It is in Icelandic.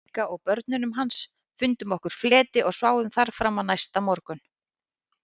Bigga og börnunum hans, fundum okkur fleti og sváfum þar fram á næsta morgun.